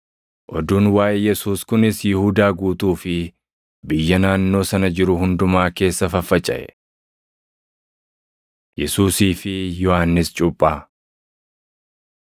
Oduun waaʼee Yesuus kunis Yihuudaa guutuu fi biyya naannoo sana jiru hundumaa keessa faffacaʼe. Yesuusii fi Yohannis Cuuphaa 7:18‑35 kwf – Mar 11:2‑19